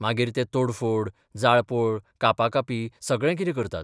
मागीर ते तोडफोड, जाळपोळ, कापाकापी सगळें कितें करतात.